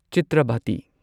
Chitravati